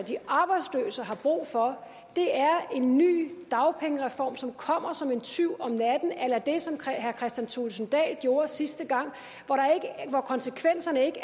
de arbejdsløse har brug for er en ny dagpengereform som kommer som en tyv om natten a la det som herre kristian thulesen dahl gjorde sidste gang hvor konsekvenserne ikke